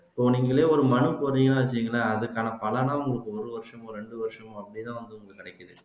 இப்ப நீங்களே ஒரு மனு போடறீங்கன்னு வச்சுக்கங்களேன் அதுக்கான பலனா உங்களுக்கு ஒரு வருசமோ ரெண்டு வருசமோ அப்படித்தான் வந்து